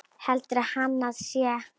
Heldur hann að ég sé.